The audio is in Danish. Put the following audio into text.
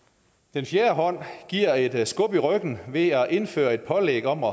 den fjerde hånd giver et skub i ryggen ved at indføre et pålæg om at